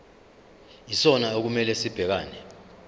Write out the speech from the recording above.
yisona okumele sibhekane